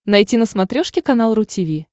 найти на смотрешке канал ру ти ви